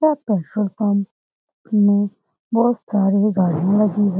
बहुत सारी गाड़ियाँ लगी हैं।